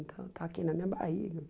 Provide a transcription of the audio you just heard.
Então, está aqui na minha barriga.